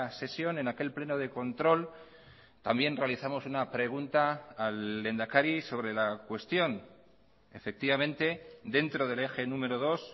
sesión en aquel pleno de control también realizamos una pregunta al lehendakari sobre la cuestión efectivamente dentro del eje número dos